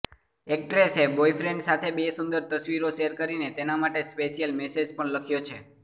એક્ટ્રેસે boyfriend સાથે બે સુંદર તસવીરો શેર કરીને તેના માટે સ્પેશિયલ મેસેજ પણ લખ્યો છે